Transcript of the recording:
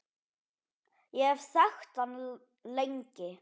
Ég hef þekkt hann lengi.